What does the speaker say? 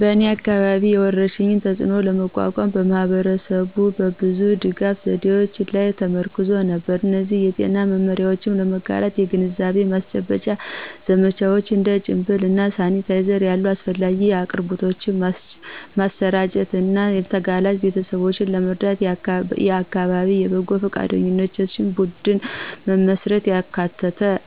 በእኔ አካባቢ፣ የወረርሽኙን ተፅእኖ ለመቋቋም ማህበረሰቡ በብዙ የድጋፍ ዘዴዎች ላይ ተመርኩዞ ነበር። እነዚህ የጤና መመሪያዎችን ለመጋራት የግንዛቤ ማስጨበጫ ዘመቻዎች፣ እንደ ጭንብል እና ሳኒታይዘር ያሉ አስፈላጊ አቅርቦቶችን ማሰራጨት እና ተጋላጭ ቤተሰቦችን ለመርዳት የአካባቢ የበጎ ፈቃደኞች ቡድን መመስረትን